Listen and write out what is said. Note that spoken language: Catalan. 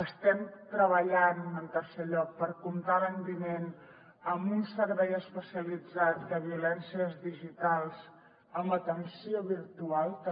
estem treballant en tercer lloc per comptar l’any vinent amb un servei especialitzat de violències digitals amb atenció virtual també